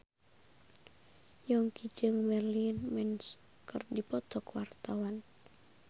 Yongki jeung Marilyn Manson keur dipoto ku wartawan